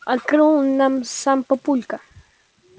открыл нам сам папулька